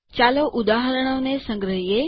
ચાલો ઉદાહરણોને સંગ્રહીએ